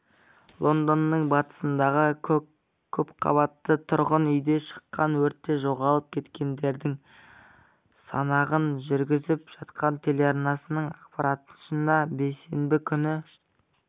лондонның батысындағы көпқабатты тұрғын үйде шыққан өртте жоғалып кеткендердің санағын жүргізіп жатқан телеарнасының ақпарынша бейсенбі күні